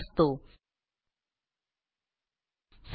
ज्यातून आपल्याला योग्य शब्द निवडायचा असतो